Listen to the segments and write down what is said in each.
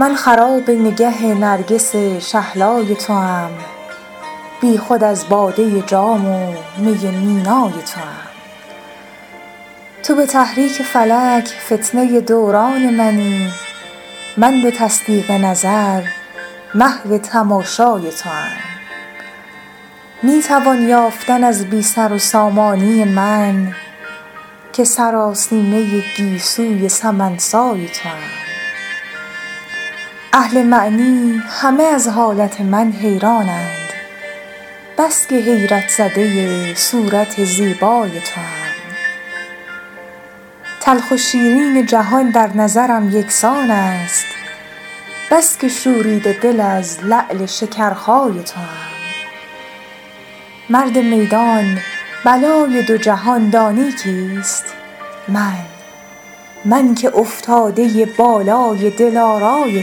من خراب نگه نرگس شهلای توام بی خود از باده جام و می مینای توام تو به تحریک فلک فتنه دوران منی من به تصدیق نظر محو تماشای توام می توان یافتن از بی سر و سامانی من که سراسیمه گیسوی سمن سای توام اهل معنی همه از حالت من حیرانند بس که حیرت زده صورت زیبای توام تلخ و شیرین جهان در نظرم یکسان است بس که شوریده دل از لعل شکرخای توام مرد میدان بلای دو جهان دانی کیست من که افتاده بالای دلارای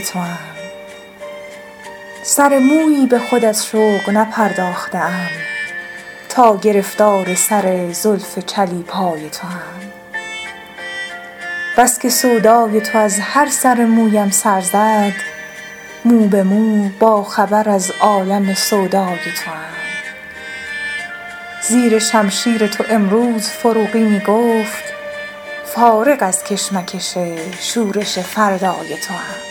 توام سر مویی به خود از شوق نپرداخته ام تا گرفتار سر زلف چلیپای توام بس که سودای تو از هر سر مویم سر زد مو به مو با خبر از عالم سودای توام زیر شمشیر تو امروز فروغی می گفت فارغ از کشمکش شورش فردای توام